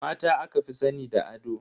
Mata aka fi sani da ado.